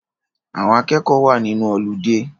Àwọn akẹ́kọ̀ọ́ wa nínú ọludé